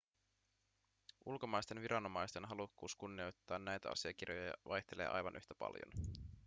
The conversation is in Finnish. ulkomaisten viranomaisten halukkuus kunnioittaa näitä asiakirjoja vaihtelee aivan yhtä paljon